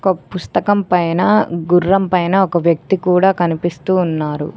ఒక్ పుస్తకం పైన గుర్రం పైన ఒక వ్యక్తి కూడా కనిపిస్తూ ఉన్నారు.